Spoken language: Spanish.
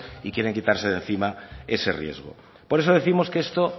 y quieren quitarse de encima ese riesgo por eso décimos que esto